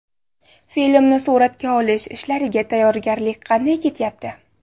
Filmni suratga olish ishlariga tayyorgarlik qanday ketyapti?